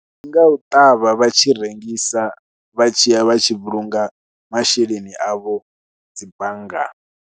Ndi nga u ṱavha vha tshi rengisa, vha tshi ya vha tshi vhulunga masheleni avho dzi banngani.